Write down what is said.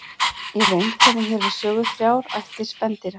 Í reynd koma hér við sögu þrjár ættir spendýra.